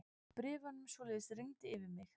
Bréfunum svoleiðis rigndi yfir mig.